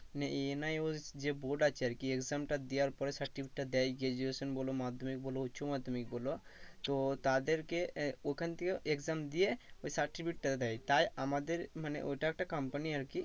মানে NIOS যে board আছে আর কি exam টা দেওয়ার পরে certificate টা দেয় যে graduation বলো মাধ্যমিক বলো উচ্চমাধ্যমিক বলো তো তাদেরকে আহ ওখান থেকে exam দিয়ে ওই certificate টা দেয় তাই আমাদের মানে ওটা একটা company আর কি